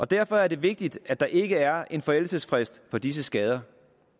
derfor er det vigtigt at der ikke er en forældelsesfrist for disse skader